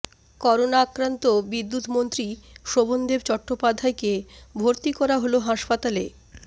corona আক্রান্ত বিদ্যুৎমন্ত্রী শোভনদেব চট্টোপাধ্যায়কে ভর্তি করা হল হাসপাতালে